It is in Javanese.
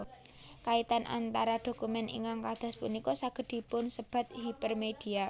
Kaitan antar dokumen ingkang kadas punika saged dipunsebat hipermedia